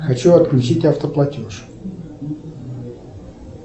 хочу отключить автоплатеж